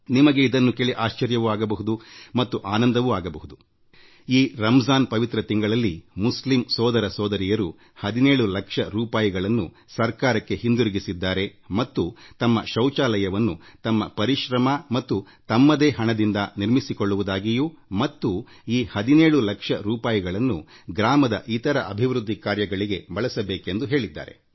ನಿಮಗೆ ಆಶ್ಚರ್ಯ ಆಗಬಹುದು ಮತ್ತು ಕೇಳಿ ಸಂತೋಷವೂ ಆಗಬಹುದು ಈ ಪವಿತ್ರ ರಂಜಾನ್ ಮಾಸದಲ್ಲಿ ಈ ಮುಸ್ಲಿ ಸೋದರ ಮತ್ತು ಸೋದರಿಯರು ಈ ಹಣವನ್ನು ಸರ್ಕಾರಕ್ಕೆ ಹಿಂತಿರುಗಿಸಿ ತಮ್ಮ ಮನೆಯ ಶೌಚಾಲಯಗಳನ್ನು ತಾವೇ ತಮ್ಮದೇ ಖರ್ಚು ಹಾಗೂ ಶ್ರಮದಿಂದ ನಿರ್ಮಿಸಿಕೊಳ್ಳುವುದಾಗಿ ಮತ್ತು ಈ ಹಣವನ್ನು ಗ್ರಾಮದಲ್ಲಿ ಇನ್ನಿತರ ಮೂಲ ಸೌಕರ್ಯ ಒದಗಿಸಲು ಬಳಸುವಂತೆ ಕೋರಿದ್ದಾರೆ